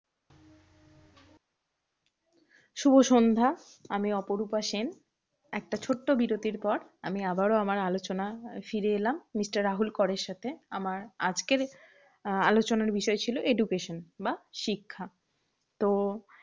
শুভ সন্ধ্যা আমি অপরূপা সেন, একটা ছোট্ট বিরতির পর আমি আবারো আমার আলোচনা ফিরে এলাম। mister রাহুল করের সাথে আমার আজকের আহ আলোচনার বিষয় ছিল education বা শিক্ষা তো,